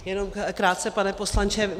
Jenom krátce, pane poslanče.